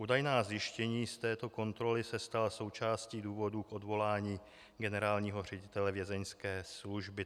Údajná zjištění z této kontroly se stala součástí důvodů k odvolání generálního ředitele Vězeňské služby.